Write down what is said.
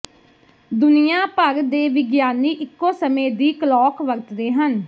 ਦੁਨੀਆਂ ਭਰ ਦੇ ਵਿਗਿਆਨੀ ਇੱਕੋ ਸਮੇਂ ਦੀ ਕਲੌਕ ਵਰਤਦੇ ਹਨ